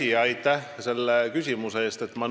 Hea küsija, aitäh selle küsimuse eest!